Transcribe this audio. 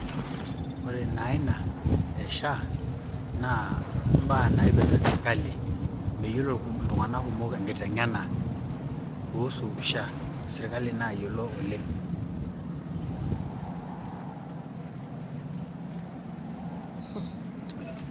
ore naaa ina e SHA naa ibaa naipirta serkali, meyiolo iltunganak kumok ina ibaa naipirta SHA serkali naayiolo oleng..